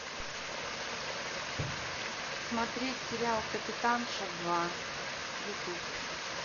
смотреть сериал капитанша два ютуб